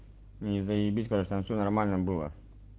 и заебись короче там всё нормально было